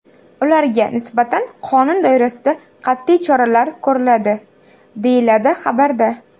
Ularga nisbatan qonun doirasida qat’iy choralar ko‘riladi” , deyiladi xabarda.